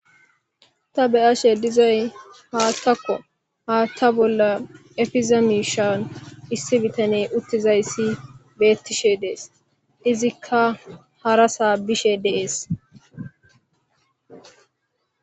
Ta beyashe dizay hathako hatha bola efizza misha issi bitaney untidily betishe dees izzika harassa bishe de'ees